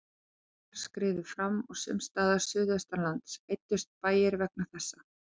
Jöklar skriðu fram og sums staðar suðaustanlands eyddust bæir vegna þessa.